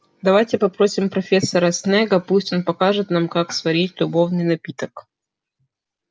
давайте попросим профессора снегга пусть он покажет нам как сварить любовный напиток